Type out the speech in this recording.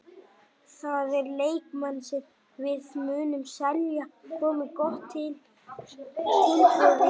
Það eru leikmenn sem við munum selja komi gott tilboð í þá.